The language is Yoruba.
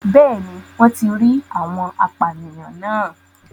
Bẹ́ẹ̀ni wọ́n ti rí àwọn apànìyàn náà